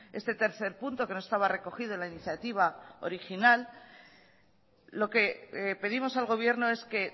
este tercer punto que no estaba recogido en la iniciativa original lo que pedimos al gobierno es que